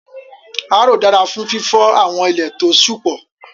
Áróó dara fun fifọ awọn ile to ṣú pọ